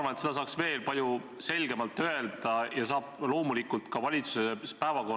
Ma arvan, et Eestis tohib kritiseerida ja legitiimse poliitilise debati objekt tohib olla ja peab olema ka õigussüsteem.